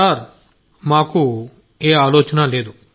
sir మాకు ఏ ఆలోచన లేదు